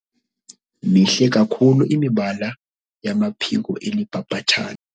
Mihle kakhulu imibala yamaphiko eli bhabhathane.